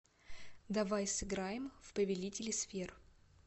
давай сыграем в повелители сфер